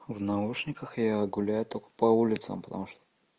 в наушниках я гуляю только по улицам потому что